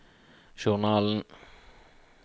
journalen